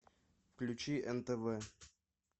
включи нтв